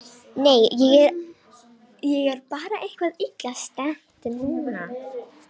Nei, ég er bara eitthvað illa stemmd núna.